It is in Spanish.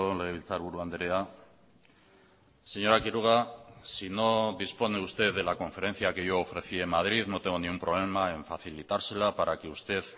legebiltzarburu andrea señora quiroga si no dispone usted de la conferencia que yo ofrecí en madrid no tengo ningún problema en facilitársela para que usted